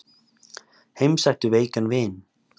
Heimsæktu veikan vin.